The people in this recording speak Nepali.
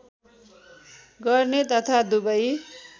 गर्ने तथा दुबै